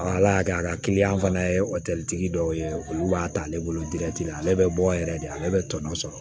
Ala y'a kɛ a ka kiliyan fana ye o tɛ dɔw ye olu b'a ta ale bolo la ale bɛ bɔ yɛrɛ de ale bɛ tɔnɔ sɔrɔ